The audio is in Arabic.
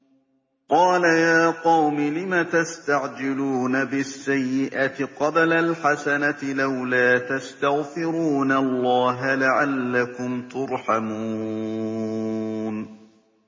قَالَ يَا قَوْمِ لِمَ تَسْتَعْجِلُونَ بِالسَّيِّئَةِ قَبْلَ الْحَسَنَةِ ۖ لَوْلَا تَسْتَغْفِرُونَ اللَّهَ لَعَلَّكُمْ تُرْحَمُونَ